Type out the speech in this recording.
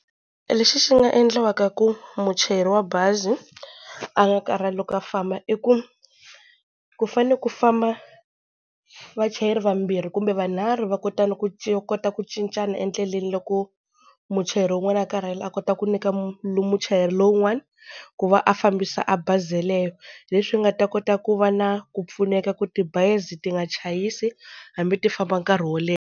Lexi xi nga endliwaka ku muchayeri wa bazi a nga karhali loko a famba, i ku ku fane ku famba vachayeri vambirhi kumbe vunharhu va kota na ku va kota ku cincana endleleni loko muchayeri wun'wana a karhele a kota ku nyika muchayeri lowun'wani ku va a fambisa a bazi yeleyo, leswi nga ta kota ku va na ku pfuneka ku tibazi ti nga chayisi hambi ti famba nkarhi wo leha.